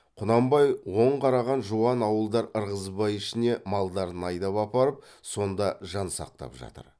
құнанбай оң қараған жуан ауылдар ырғызбай ішіне малдарын айдап апарып сонда жан сақтап жатыр